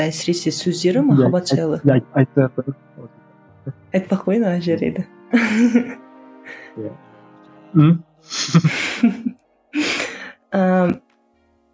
әсіресе сөздері махаббат жайлы айтпай ақ қояйын ана жерлерді ііі